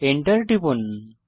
Enter টিপুন